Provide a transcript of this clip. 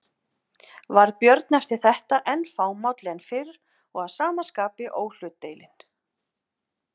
Varð Björn eftir þetta enn fámálli en fyrr og að sama skapi óhlutdeilinn.